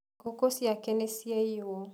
Ngũkũ ciake nĩciaiyũo.